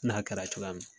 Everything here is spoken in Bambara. N'a kɛra cogoya min na